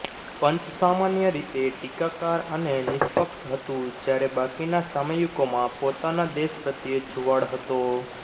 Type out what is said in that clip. પંચ સામાન્ય રીતે ટીકાકાર અને નિષ્પક્ષ હતું જ્યારે બાકીના સામયિકોમાં પોતાના દેશ પ્રત્યે જુવાળ હતો